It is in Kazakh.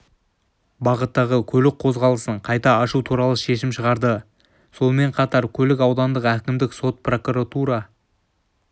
бағыттағы көлік қозғалысын қайта ашу туралы шешім шығарды сонымен қатар көлік аудандық әкімдік сот прокуратура